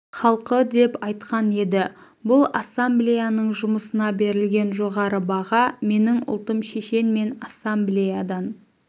халқы деп айтқан еді бұл ассамблеяның жұмысына берілген жоғары баға менің ұлтым шешен мен ассамблеядан